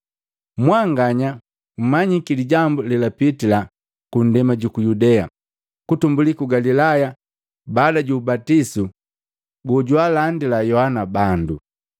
Mwanganya mmanyiki lijambu lelapitila ku nndema juku Yudea, kutumbuli ku Galilaya baada ju ubatisu gojwaalandila Yohana bandu.